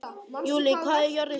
Júlí, hvað er jörðin stór?